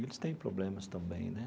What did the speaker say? Eles têm problemas também, né?